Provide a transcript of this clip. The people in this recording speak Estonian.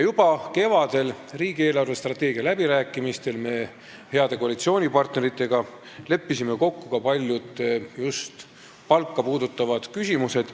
Juba kevadel, riigi eelarvestrateegia läbirääkimistel me leppisime heade koalitsioonipartneritega kokku ka paljud palka puudutavad küsimused.